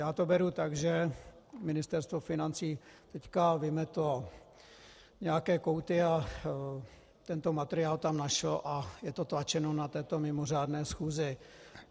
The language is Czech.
Já to beru tak, že Ministerstvo financí teď vymetlo nějaké kouty a tento materiál tam našlo a je to tlačeno na této mimořádné schůzi.